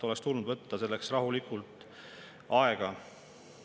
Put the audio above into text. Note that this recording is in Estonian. Oleks tulnud selleks rahulikult aega võtta.